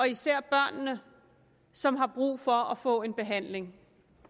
især børnene som har brug for at få en behandling